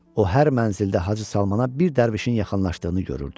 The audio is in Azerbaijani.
O hər mənzildə Hacı Salmana bir dərvişin yaxınlaşdığını görürdü.